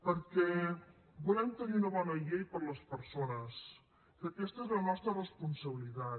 perquè volem tenir una bona llei per a les persones que aquesta és la nostra responsabilitat